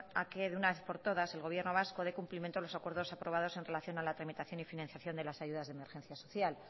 de que una vez por todas el gobierno vasco dé cumplimiento a los acuerdos aprobados en relación a la tramitación y financiación de las ayudas de emergencia social